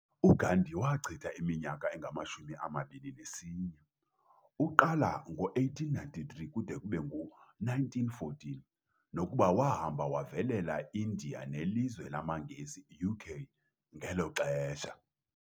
uGandhi wachita iminyaka engama 21 uqala ngo 1893 kude kube ngu 1914, nokuba wahamba wavelela iIndia nelizwe lamangesi, UK, ngelo xhesha.